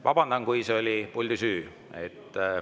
Vabandan, kui see oli puldi süü.